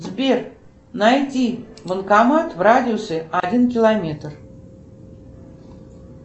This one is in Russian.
сбер найди банкомат в радиусе один километр